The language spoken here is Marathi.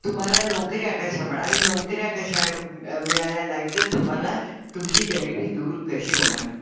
तुम्हाला नोकऱ्या कश्या मिळणार आणि नोकऱ्या कशा मिळाला नाही तर तुम्हाला तुमची गरिबी दूर कशी होणार.